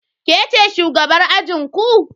Ke ce shugabar ajinku?